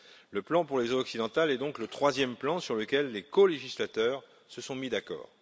Le plan pour les eaux occidentales est donc le troisième plan sur lequel les colégislateurs se sont mis d'accord.